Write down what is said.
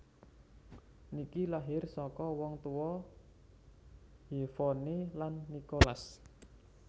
Nicky lahir saka wong tuwa Yvonne lan Nicholas